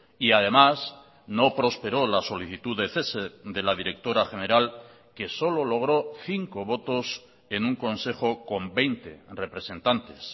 y además no prosperó la solicitud de cese de la directora general que solo logró cinco votos en un consejo con veinte representantes